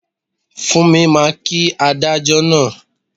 Fúnmi máa kí adájọ́ náà